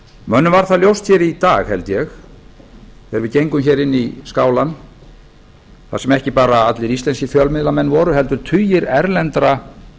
mönnum var það ljóst í dag held ég þegar við gengum inn í skálann þar sem ekki bara allir íslenskir fjölmiðlamenn voru heldur tugir erlendra